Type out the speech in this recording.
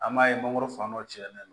An b'a ye mangoro fan dɔ cɛnnen don